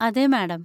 അതെ, മാഡം.